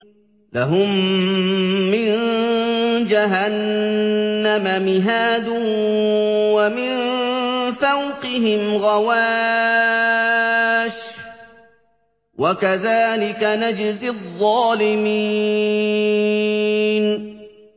لَهُم مِّن جَهَنَّمَ مِهَادٌ وَمِن فَوْقِهِمْ غَوَاشٍ ۚ وَكَذَٰلِكَ نَجْزِي الظَّالِمِينَ